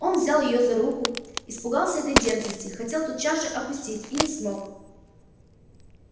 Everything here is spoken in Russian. он взял её за руку испугался этой дерзости хотел тотчас же отпустить и не смог